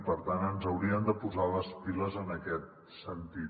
per tant ens hauríem de posar les piles en aquest sentit